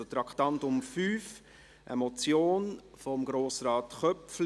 Es handelt sich um eine Motion von Grossrat Köpfli: